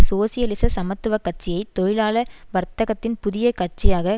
சோசியலிச சமத்துவ கட்சியை தொழிலாள வர்தகத்தின் புதிய கட்சியாக